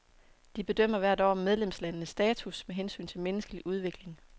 De bedømmer hvert år medlemslandenes status med hensyn til menneskelig udvikling.